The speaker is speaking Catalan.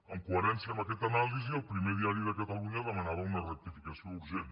en coherència amb aquesta anàlisi el primer diari de catalunya demanava una rectificació urgent